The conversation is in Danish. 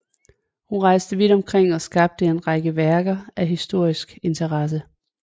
Hun rejste vidt omkring og skabte en række værker af historisk interesse